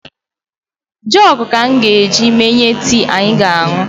Jọg ka m ga-eji menye tii anyị ga-añụ